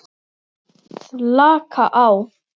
Slaka á?